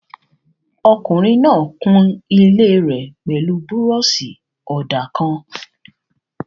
Ọkùnrin náà kun ilé rẹ̀ pẹ̀lú búrọ̀ṣì-ọ̀dà kan